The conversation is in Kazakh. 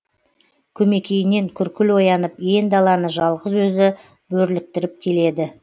көмекейінен күркіл оянып ен даланы жалғыз өзі бөрліктіріп келеді